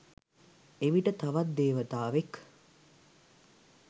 එවිට තවත් දේවතාවෙක්